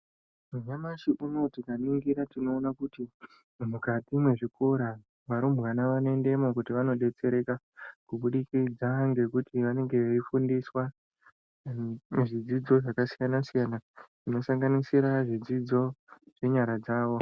Nyamashi unou tikaringira tinoona kuti mukati mwezvikora varumbwana vanoendemo kuti vandotsereka kubukidza ngekuti vanenge veifundiswa pazvidzidzo zvakasiyana siyana zvinosanganisira zvidzidzo zvenyara dzao.